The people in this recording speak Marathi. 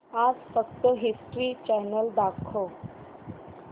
आज फक्त हिस्ट्री चॅनल दाखव